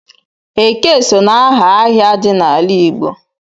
Eke so n'aha ahịa dị n'ala Igbo.